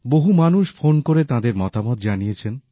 বহু মানুষ ফোন করে তাঁদের মতামত জানিয়েছেন